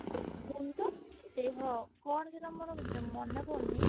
କଣ ତ ଦେହ କଣ ସେଟା ମୋର ମନେ ପଡୁନି